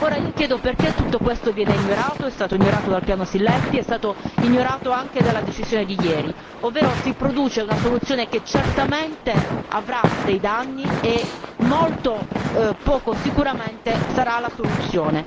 Ora, chiedo perché tutto questo viene ignorato, è stato ignorato dal piano Silletti, è stato ignorato anche dalla decisione di ieri, ovvero si produce una soluzione che certamente avrà dei danni e molto poco sicuramente sarà la soluzione.